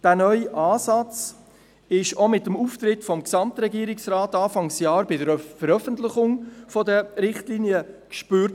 Der neue Ansatz war auch mit dem Auftritt des Gesamtregierungsrates Anfang Jahr bei der Veröffentlichung der Richtlinien zu spüren.